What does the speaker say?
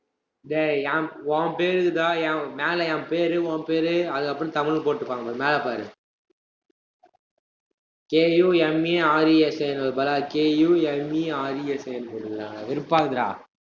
டேய், என் உன் பேருக்குதான், மேல என் பேரு, உன் பேரு, அதுக்கப்புறம் தமிழ் போட்டுப்பாங்க பாரு, மேல பாரு. K U M A R E S A ங்கறதுக்கு பதிலா K U M E R E S A னு போட்டிருக்காங்கடா வெறுப்பா இருக்குதுடா